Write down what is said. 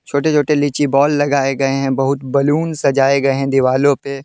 छोटे-छोटे लीची बाल लगाए गए हैं बहुत बैलून सजाए गए हैं दीवालों पे।